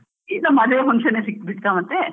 ಈಗ ಮದ್ವೆ function ಯೆ ಸಿಕ್ಬಿಡ್ತ ಮತ್ತೇ?